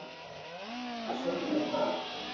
Hefurðu nokkuð að segja mér í dag?